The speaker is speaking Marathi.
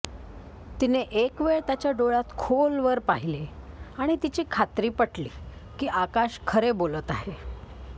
तिने एकवेळ त्याच्या डोळ्यात खोलवर पाहिले आणि तिची खात्री पटली की आकाश खरे बोलत आहे